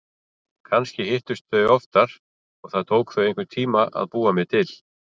Kannski hittust þau oftar og það tók þau einhvern tíma að búa mig til.